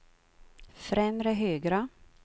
främre högra